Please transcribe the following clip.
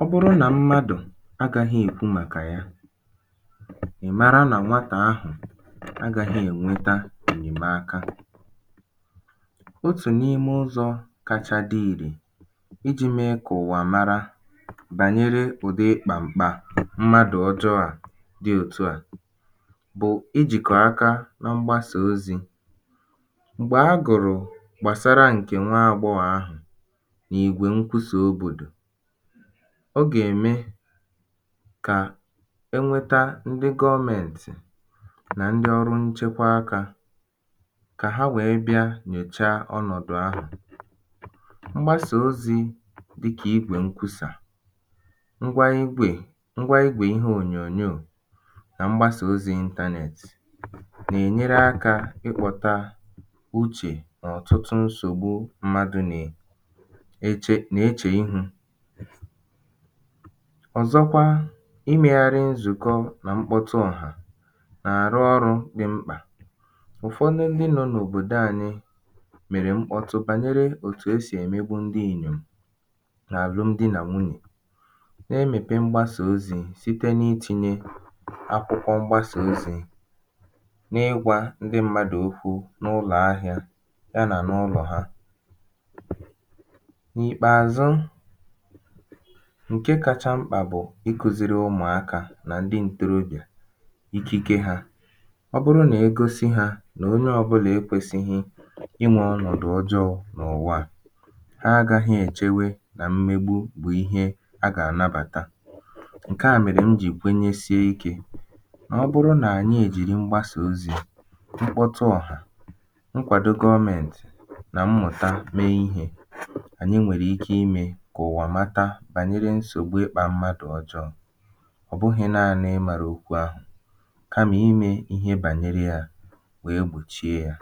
ọ bụrụ nà mmadụ̀ agāhị̄ èkwu màkà ya ị̀ mara nà nwatà ahụ̀ agāhī ènweta ènyèmaka otù n’ime ụzọ̄ kacha dị ìrè ijī mee kà ụwà mara bànyere ụ̀dị ịkpà m̀kpà mmadụ ọjọō à dị òtu à bụ̀ijìkọ̀ aka na mgbasà ozī m̀gbè a gụ̀rụ̀ gbàsara ṅ̀kè nwa agbọghọ̀ ahụ̀ n’ìgwè ṅkwusà òbòdò ọ gà-ème kà e nweta ndị gọọmēǹtɪ̣̀ nà ndị ọrụ nchekwa akā kà ha wèe bịa nyòchaa ọnọ̀dụ̀ ahụ̀ mgbasà ozī dịkà igwè ṅkwusà ṅgwa igwè ṅgwa igwè ihe ònyònyoò nà mgbasà ozī internet nà-ènyere akā ịkpọ̄tā uchè n’ọtụtụ nsògbu mmadụ nè eche nà-echè ihū ọ̀zọkwa imēghārị̄ nzùkọ nà mkpọtụ ọ̀hà nà àrụ ọrụ̄ dị mkpà ụ̀fọdụ ndị nọ n’òbòdo ānyị̄ mèrè mkpọtụ bànyere òtu e sì èmegbu ndị Ìgbò n’àlụm di nà nwunyè na-emèpe mgbasàozī site n’itīnyē akwụkwọ mgbasà ozī n’ịgwā ndị mmadụ̀ okwu n’ụlọ̀ ahịā ya nà n’ụlọ̀ ha n’ìkpèàzụ ṅ̀ke kacha mkpà bụ̀ ikūzīrī ụmụ̀akā nà ndị ntorobịà ikike hā ọ bụrụ nà e gosi hā nà onye ọbụ̄là ekwēsīhī ịmā ọnọ̀dụ̀ ọjọọ̄ n’ụ̀wa à ha agāghị̄ èchewe kà mmegbu bụ̀ ihe a gà ànabàta ṅ̀ke à mèrè m jì kwenyesie ikē nà ọ bụrụ nà ànyị èjiri mgbasà ozī mkpọtụ ọ̀hà ṅkwàdo gọọmēǹtị̀ nà mmụ̀ta mee ihē ànyị nwèrè ike imē kà ụ̀wà mata bànyere nsògbu ịkpā mmadụ̀ ọjọọ̄ ọ̀ bụhị̄ naānị̄ ịmārā okwu ahụ̀ kamà imē ihe bànyere yā wèe gbòchie yā